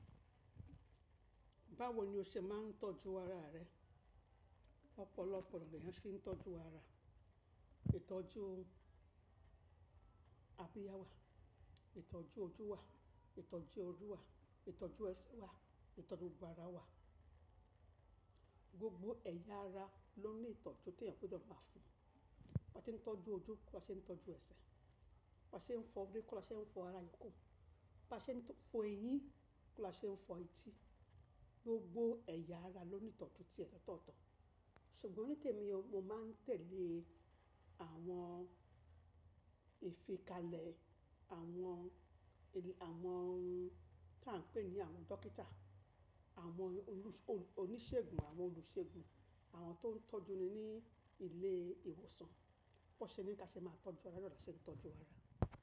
Báwo ni o ṣe máa ń tọ́jú ara rẹ? Ọ̀pọ̀lọpọ̀ ona lèeyàn fi ń tọ́jú ara, ìtọ́jú abíyá wà, ìtọ́jú ojú wà, ìtọ́jú orí wà, ìtọ́jú ẹsẹ̀ wà, ìtọ́jú gbogbo ara wà. Gbogbo ẹ̀yà ara ló ní ìtọ́jú t'ẹeyan gbọ́dọ̀ máa fún un. Bá ṣe ń tọ́jú ojú, kó lá ṣe ń tọ́jú ẹsẹ̀, bá ṣe ń fọ orí, kó lá ṣe ń fọ ara yòókù, bá ṣe ń fọ eyín, kó lá ṣe ń fọ etí. Gbogbo ẹ̀yà ara ló ní ìtọ́jú tí ẹ lotọ́ọ̀tọ̀. Ṣùgbọ́n nítèmi mo máa ń tẹ̀lé àwọn ìfikalẹ̀ àwọn ènìyàn tí à ń pè ní àwọn dókítà, àwọn oníṣègùn, àwọn olùṣègùn, àwọn tó ń tọ́jú ni ní ilé ìwòsàn. Bón ṣe ní kí a ṣe máa tọ́jú ara naa la ṣe ń tọ́jú ara.